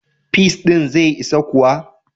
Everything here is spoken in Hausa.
Peas ɗin zai isa kuwa?